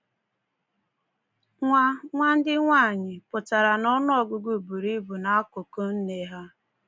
“Nwa nwa ndị nwaanyị” pụtara n'ọnụọgụgụ buru ibu n'akụkụ “nne” ha.